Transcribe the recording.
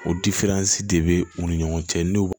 O de bɛ u ni ɲɔgɔn cɛ n'u